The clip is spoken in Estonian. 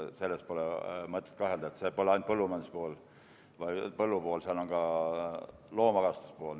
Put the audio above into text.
Selles pole mõtet kahelda, seal pole esindatud ainult põllumajanduspool, põllupool, seal on ka loomakasvatuspool.